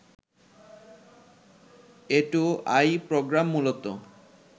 A two I programme মূলত